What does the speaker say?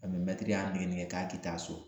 Ani mɛtiri y'a nɛgɛnɛgɛ k'a ti taa so